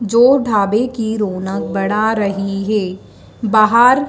जो ढाबे की रौनक बढ़ा रही है बाहर--